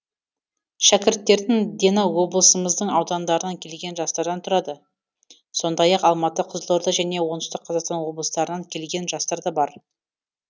шәкірттердің дені облымыздың аудандарынан келген жастардан тұрады сондай ақ алматы қызылорда және оңтүстік қазақстан облыстарынан келген жастар да бар